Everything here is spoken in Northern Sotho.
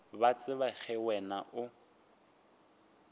ba tseba ge wena o